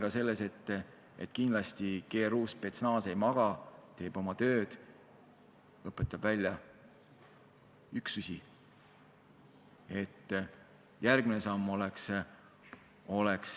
Ma olen kindel, et GRU, spetsnaz ei maga, teeb oma tööd, õpetab üksusi välja.